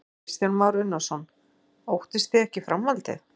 Kristján Már Unnarsson: Óttist þið ekki framhaldið?